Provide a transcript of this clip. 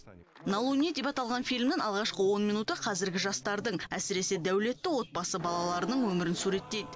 на луне деп аталған фильмнің алғашқы он минуты қазіргі жастардың әсіресе дәулетті отбасы балаларының өмірін суреттейд